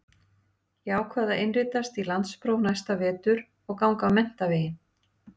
Ég ákvað að innritast í landspróf næsta vetur og ganga menntaveginn.